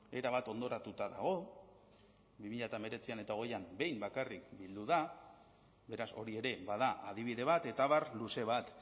erabat hondoratuta dago bi mila hemeretzian eta hogeian behin bakarrik bildu da beraz hori ere bada adibide bat eta abar luze bat